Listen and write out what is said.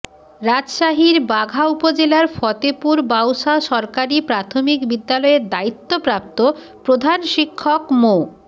রাজশাহীর বাঘা উপজেলার ফতেপুর বাউসা সরকারি প্রাথমিক বিদ্যালয়ের দায়িত্বপ্রাপ্ত প্রধান শিক্ষক মো